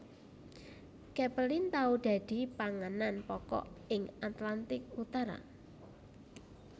Capelin tau dadi panganan pokok ing Atlantik Utara